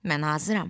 Mən hazıram.